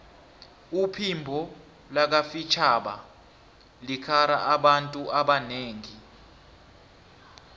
uphimbo lakafitjhaba likara abantu abanengi